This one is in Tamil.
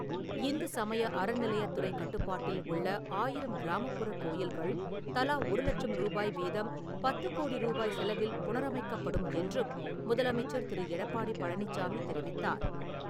இந்து சமய அறநிலையத்துறை கட்டுப்பாட்டில் உள்ள ஆயிரம் கிராமப்புற கோயில்கள், தலா ஒரு லட்சம் ரூபாய் வீதம் பத்து கோடி ரூபாய் செலவில் புனரமைக்கப்படும் என்றும் முதலமைச்சர் திரு. எடப்பாடி பழனிச்சாாமி தெரிவித்தார்.